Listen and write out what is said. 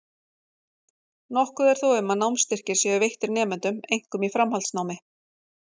Nokkuð er þó um að námsstyrkir séu veittir nemendum, einkum í framhaldsnámi.